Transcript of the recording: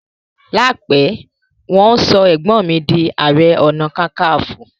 láìpé wan so egbon mí dì aré ọnà kankanfo.